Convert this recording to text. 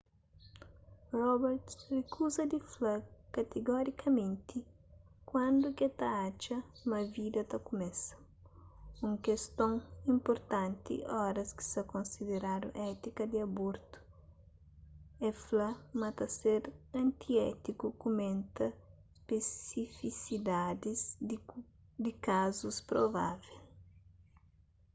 roberts rikuza di fla katigorikamenti kuandu ke ta atxa ma vida ta kumesa un keston inpurtanti oras ki sa konsideradu étika di abortu el fla ma ta ser antiétiku kumenta spesifisidadis di kazus provável